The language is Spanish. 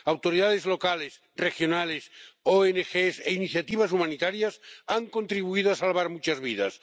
Autoridades locales, regionales, ONG e iniciativas humanitarias han contribuido a salvar muchas vidas.